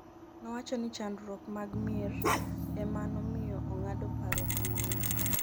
nowacho ni chandruok mag mier ema nomiyo ong'ado paro kamano